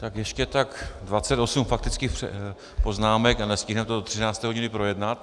Tak ještě tak 28 faktických poznámek a nestihneme to do 13. hodiny projednat.